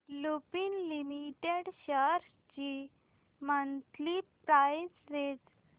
Lupin limited shares ची monthly price range